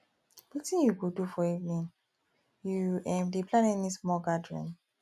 wetin you go do for evening you um dey um plan any small gathering